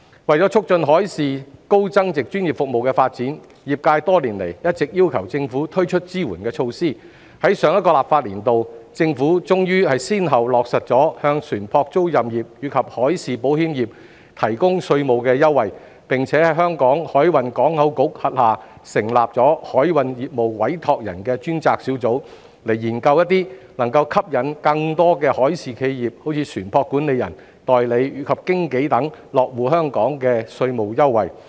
為促進海事高增值專業服務的發展，業界多年來一直要求政府推出支援措施，在上一個立法年度，政府終於先後落實向船舶租賃業及海事保險業提供稅務優惠，並在香港海運港口局轄下成立海運業務委託人專責小組，以研究一些能夠吸引更多海事企業，如船舶管理人、代理及經紀等落戶香港的稅務優惠。